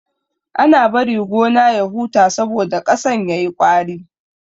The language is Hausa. Ana bari gona ya huta saboda ƙasan yayi ƙwari.